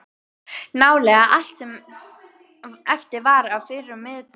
Nálega allt sem eftir var af fyrrum miðborg